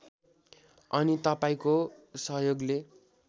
अनि तपाईँंको सहयोगले